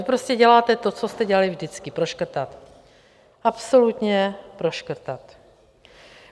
Vy prostě děláte to, co jste dělali vždycky: proškrtat, absolutně proškrtat.